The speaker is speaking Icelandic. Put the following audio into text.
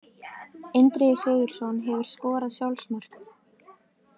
Indriði Sigurðsson Hefurðu skorað sjálfsmark?